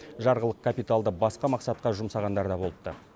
жарғылық капиталды басқа мақсатқа жұмсағандар да болыпты